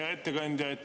Hea ettekandja!